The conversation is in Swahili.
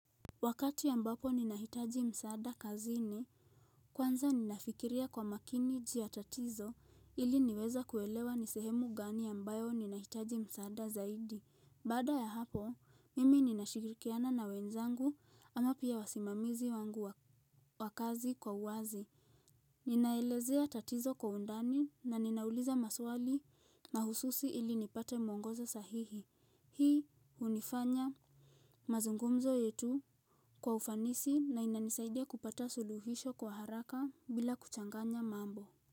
Wakati ambapo ninahitaji msaada kazini, kwanza ninafikiria kwa makini juu ya tatizo ili niweze kuelewa ni sehemu gani ambayo ninahitaji msaada zaidi. Baada ya hapo, mimi ninashikirikiana na wenzangu ama pia wasimamizi wangu wa kazi kwa uwazi. Ninaelezea tatizo kwa undani na ninauliza maswali mahususi ili nipate mwongozo sahihi. Hii hunifanya mazungumzo yetu kwa ufanisi na inanisaidia kupata suluhisho kwa haraka bila kuchanganya mambo.